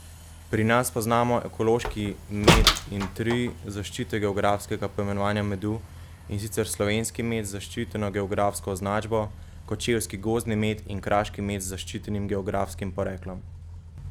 Pri nas poznamo ekološki med in tri zaščite geografskega poimenovanja medu, in sicer slovenski med z zaščiteno geografsko označbo, kočevski gozdni med in kraški med z zaščitenim geografskim poreklom.